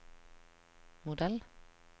modell